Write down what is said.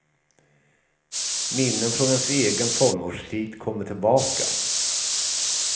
Minnen från ens egen tonårstid kommer tillbaka.